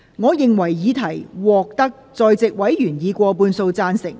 我認為議題獲得在席委員以過半數贊成。